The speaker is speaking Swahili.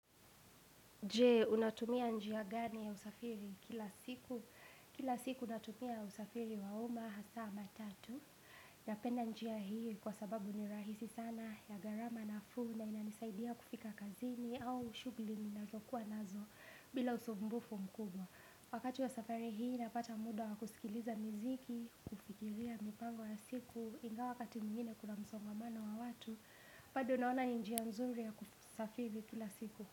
Je, unatumia njia gani ya usafiri kila siku? Kila siku natumia usafiri wa umma, hasa matatu. Napenda njia hii kwa sababu ni rahisi sana, ya gharama nafuu na inanisaidia kufika kazini au shughuli ninazokuwa nazo, bila usumbufu mkubwa. Wakati ya safari hii, napata muda wa kusikiliza miziki, kufikiria mipango ya siku, ingawa wakati mwingine kuna msongamano wa watu, bado naona ni njia nzuri ya kusafiri kila siku.